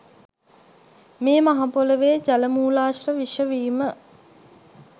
මේ මහ පොළොවේ ජල මූලාශ්‍ර විෂ වීම